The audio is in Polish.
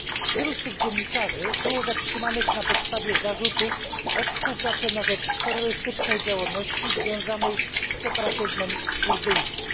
Wielu z tych dziennikarzy było zatrzymanych na podstawie zarzutów o współpracę na rzecz terrorystycznej działalności związanej z separatyzmem kurdyjskim.